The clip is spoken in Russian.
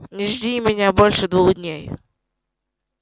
не жди меня больше двух дней